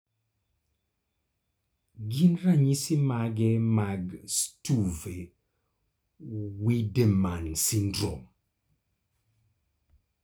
gin ranyisi mage mag Stuve Wiedemann syndrome?